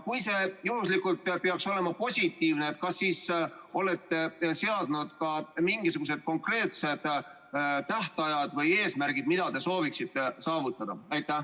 Kui see juhuslikult peaks olema positiivne, siis kas te olete seadnud ka mingisugused konkreetsed tähtajad või eesmärgid, mida soovite saavutada?